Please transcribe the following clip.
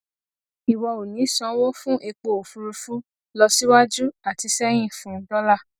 ìwọ ò ní sanwó fún epo òfurufú lọ síwájú àti sẹyìn fún dọlà